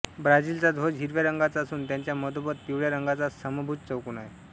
ब्राझिलचा ध्वज हिरव्या रंगाचा असून त्याच्या मधोमध पिवळ्या रंगाचा समभूज चौकोन आहे